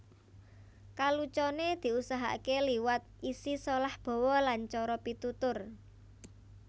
Kaluconé diusahakaké liwat isi solah bawa lan cara pitutur